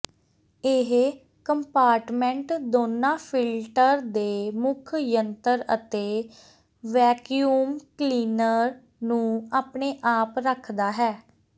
ਇਹ ਕੰਪਾਰਟਮੈਂਟ ਦੋਨਾਂ ਫਿਲਟਰ ਦੇ ਮੁੱਖ ਯੰਤਰ ਅਤੇ ਵੈਕਯੂਮ ਕਲੀਨਰ ਨੂੰ ਆਪਣੇ ਆਪ ਰੱਖਦਾ ਹੈ